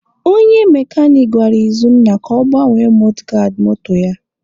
Onye mekanik gwara Izunna ka ọ gbanwee mọdgaadị moto ya.